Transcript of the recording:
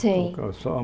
Sim. Transformo